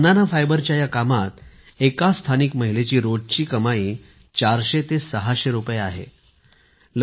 banana फायबरच्या या कामात एका स्थानिक महिलेची रोजची 400 ते 600 रुपये कमाई होते